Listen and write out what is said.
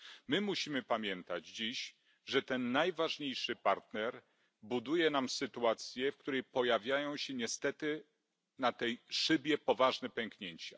My musimy pamiętać dziś, że ten najważniejszy partner buduje nam sytuację, w której pojawiają się niestety na tej szybie poważne pęknięcia.